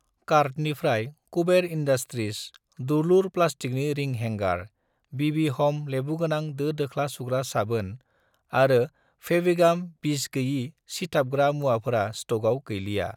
कार्टनिफ्राय कुबेर इन्डास्ट्रिज दुलुर प्लास्टिकनि रिं हेंगार, बिबि ह'म लेबुगोनां दो-दोख्ला सुग्रा साबोन आरो फेविगाम बिसगोयि सिथाबग्रा मुवाफोरा स्टकआव गैलिया।